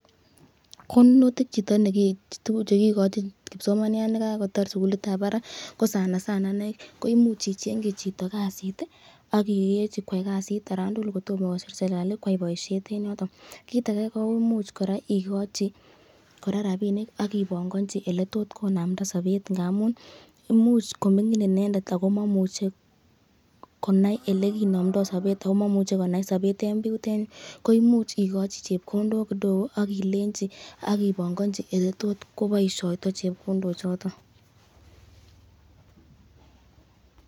Konunotik chekikochin kipsomaniat nekakotar sukulitab barak ko sana sana ineii ko imuch ichengyi chito kasit ak ilenchi koyai kasit olaan tukul yoon tomo kosir serikali koyai boishet en yoton, kiit akee kora koimuch ikochi kora rabinik ak ibong'onchi eleetot konamnda sobet ng'amun imuch komong'in inendet ak ko momuche konai elekinomndo sobet ak ko momuche ko naii sobet en bii yutet, koimuch ikochi chepkondok kidogo ak ilenchi ak ibong'onchi eleetot kwokoboishoito chepkondochoton.